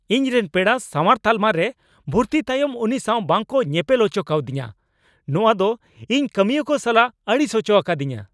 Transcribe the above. ᱤᱧ ᱨᱮᱱ ᱯᱮᱲᱟ ᱥᱟᱶᱟᱨ ᱛᱟᱞᱢᱟ ᱨᱮ ᱵᱷᱩᱨᱛᱤ ᱛᱟᱭᱚᱢ ᱩᱱᱤ ᱥᱟᱶ ᱵᱟᱝᱠᱚ ᱧᱮᱯᱮᱞ ᱚᱪᱚ ᱠᱟᱣᱫᱤᱧᱟᱹ ᱾ ᱱᱚᱣᱟ ᱫᱚ ᱤᱧ ᱠᱟᱹᱢᱤᱭᱟᱹ ᱠᱚ ᱥᱟᱞᱟᱜ ᱟᱹᱲᱤᱥ ᱚᱪᱚ ᱟᱠᱟᱫᱤᱧᱟᱹ ᱾